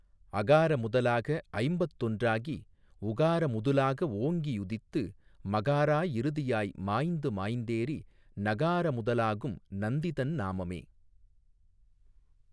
அகார முதலாக ஐம்பத்தொன்றாகி உகார முதுலாக ஓங்கி உதித்து மகாரா இறுதியாய் மாய்ந்து மாய்ந்தேறி நகார முதலாகும் நந்திதன் நாமமே.